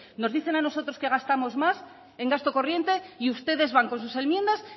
nos dicen a nosotros que gastamos más en gasto corriente y ustedes van con sus enmiendas